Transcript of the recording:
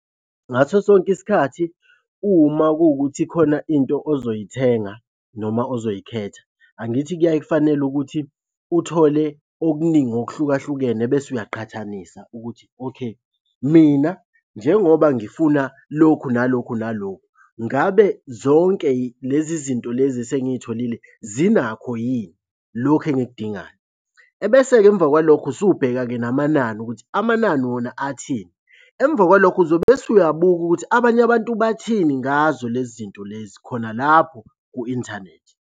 Ngaso sonke isikhathi uma kuwukuthi khona into ozoyithenga noma ozoyikhetha, angithi kuyaye kufanele ukuthi uthole okuningi okuhlukahlukene bese uyaqhathanisa ukuthi, okay mina njengoba ngifuna lokhu nalokhu nalokhu ngabe zonke lezi zinto lezi esengiy'tholile zinakho yini lokhu engikudingayo? Ebese-ke emva kwalokho usubheka-ke namanani ukuthi amanani wona athini. Emva kwalokho uzobe bese uyabuka ukuthi abanye abantu bathini ngazo lezi zinto lezi khona lapho ku-inthanethi.